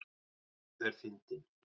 Sá er fyndinn!